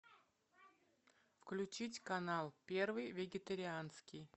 включить канал первый вегетарианский